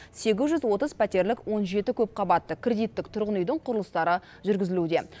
сегіз жүз отыз пәтерлік он жеті көпқабатты кредиттік тұрғын үйдің құрылыстары жүргізілуде